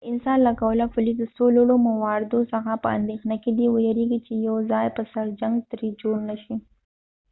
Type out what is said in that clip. د انسا له قوله پولیس د څو لوړو مواردو څخه په اندیښنه کې دي، ویرېږي چې یو د ځای پر سر جنګ ترې جوړ نه شي